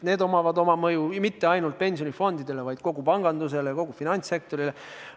Need ei oma mõju mitte ainult pensionifondidele, vaid kogu pangandusele, kogu finantssektorile.